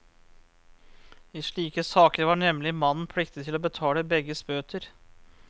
I slike saker var nemlig mannen pliktig til å betale begges bøter.